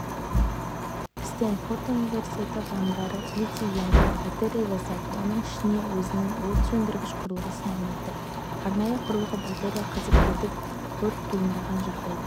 стэнфорд университеті ғалымдары литий-ионды батарея жасап оның ішіне өзінің өрт сөндіргіш құрылғысын орнатты арнайы құрылғы батарея қызып кетіп өрт туындаған жағдайда